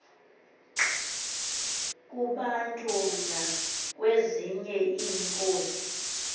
kubantu nakwezinye iinkosi